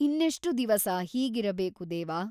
ಇನ್ನೆಷ್ಟು ದಿವಸ ಹೀಗಿರಬೇಕು ದೇವ ?